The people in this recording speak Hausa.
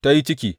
Ta yi ciki.